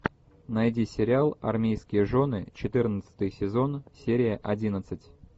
найди сериал армейские жены четырнадцатый сезон серия одиннадцать